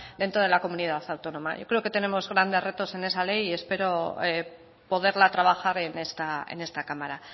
dentro de la comunidad autónoma yo creo que tenemos grandes retos en esa ley y espero poderla trabajar en esta cámara